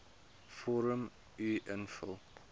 vorm uf invul